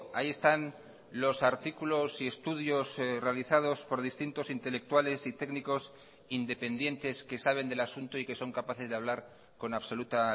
ahí están los artículos y estudios realizados por distintos intelectuales y técnicos independientes que saben del asunto y que son capaces de hablar con absoluta